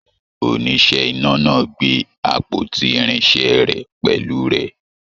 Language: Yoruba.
Oníṣẹ́ iná náà gbé àpótí irinṣẹ rẹ pẹlú rẹ.